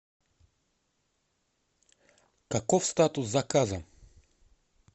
каков статус заказа